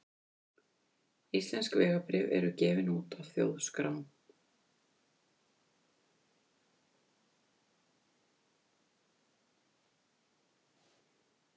Íslensk vegabréf eru gefin út af Þjóðskrá.